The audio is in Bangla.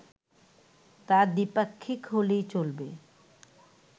তা দ্বিপাক্ষিক হলেই চলবে